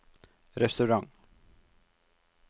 restaurant